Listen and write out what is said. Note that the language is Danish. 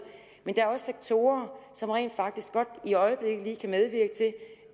men der er også sektorer som rent faktisk godt i øjeblikket kan medvirke til